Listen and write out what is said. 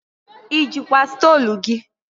I jikwa stolu gị?